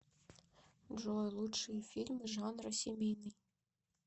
джой лучшие фильмы жанра семейный